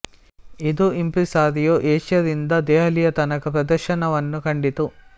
ಇದು impresario Asia ರಿಂದ ದೆಹಲಿಯ ತನಕ ಪ್ರದರ್ಶನವನ್ನು ಕಂಡಿತು